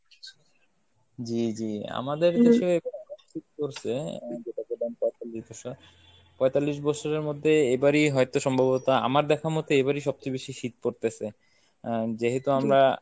জি জি আমাদের দেশে এমন শীত পরছে যেটা পঁয়তাল্লিশ বছর, পঁয়তাল্লিশ বছরের মধ্যে এবার ই হয়তো সম্ভবত আমার দেখা মতে এবার ই সবচেয়ে বেশি শীত পড়তেছে আহ যেহেতু আমরা